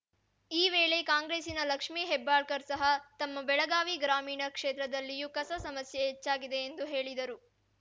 ಈ ವೇಳೆ ಕಾಂಗ್ರೆಸ್ಸಿನ ಲಕ್ಷ್ಮೀ ಹೆಬ್ಬಾಳ್ಕರ್‌ ಸಹ ತಮ್ಮ ಬೆಳಗಾವಿ ಗ್ರಾಮೀಣ ಕ್ಷೇತ್ರದಲ್ಲಿಯೂ ಕಸ ಸಮಸ್ಯೆ ಹೆಚ್ಚಾಗಿದೆ ಎಂದು ಹೇಳಿದರು